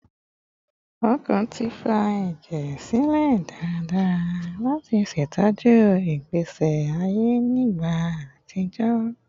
Ọkàn ti fa ẹjẹ silẹ daradara lati ṣetọju igbesi aye ni igba atijọ